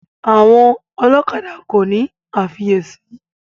Àwọn ọlọ́kadà kòní àfiyèsí.